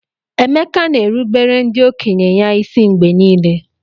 Emeka na-erubere ndị okenye ya isi mgbe niile.